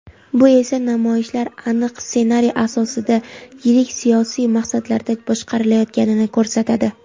Bu esa namoyishlar aniq ssenariy asosida yirik siyosiy maqsadlarda boshqarilayotganini ko‘rsatadi.